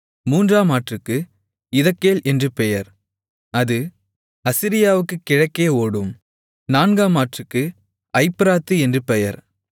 மூன்றாம் ஆற்றுக்கு இதெக்கேல் என்று பெயர் அது அசீரியாவுக்குக் கிழக்கே ஓடும் நான்காம் ஆற்றுக்கு ஐப்பிராத்து என்று பெயர்